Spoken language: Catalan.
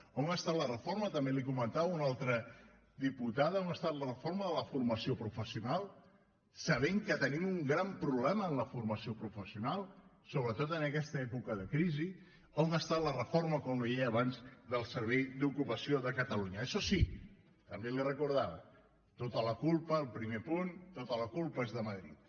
on està la reforma també li ho comentava una altra diputada de la formació professional sabent que tenim un gran problema en la formació professional sobretot en aquesta època de crisi on està la reforma com li deia abans del servei d’ocupació de catalunya això sí també li ho recordava tota la culpa el primer punt és de madrid